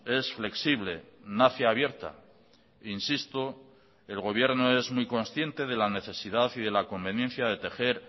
es flexible nace abierta insisto el gobierno es muy consciente de la necesidad y de la conveniencia de tejer